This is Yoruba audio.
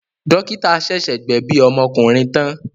Dọ́kítá ṣẹ̀ṣẹ̀ gbẹ̀bi ọmọkùnrin tán.